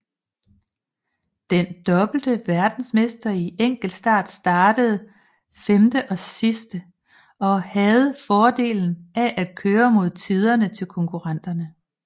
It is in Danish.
Den dobbelte verdensmester i enkeltstart startede femte sidst og havde fordelen af at køre mod tiderne til konkurrenterne